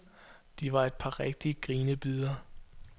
De var et par rigtige grinebidere.